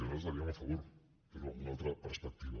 nosaltres hi votaríem a favor però amb una altra perspectiva